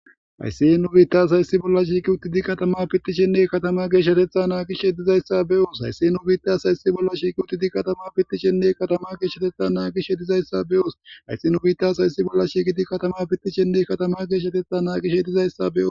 hayssi he nu biittas hayssi bolla shiiqi utti di katama pittishenne katama geeshshatetha naagish heddizayssa beyoos ayssehe nu biitas hayssi bolla shiiqi utti di katama pittishenne katama geeshshatetha naagish hedizayssa be7oos haysse nu biitas hayssi bolla shiiqidi katama pittishenne katama geeshshatetha naaqish hedizayssa beo